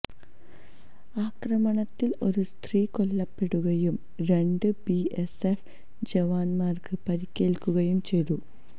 ആക്രമണത്തില് ഒരു സ്ത്രീ കൊല്ലപ്പെടുകയും രണ്ട് ബിഎസ്എഫ് ജവാന്മാര്ക്ക് പരിക്കേല്ക്കുകയും ചെയ്തു